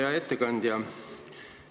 Hea ettekandja!